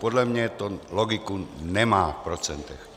Podle mě to logiku nemá v procentech.